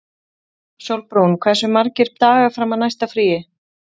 Sólbrún, hversu margir dagar fram að næsta fríi?